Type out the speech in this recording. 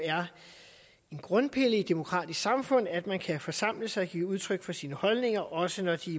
en grundpille i et demokratisk samfund at man kan forsamle sig og give udtryk for sine holdninger også når de